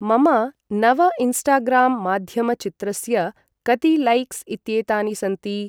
मम नव इन्स्टाग्राम् माध्यमचित्रस्य कति लैक्स् इत्येतानि सन्ति?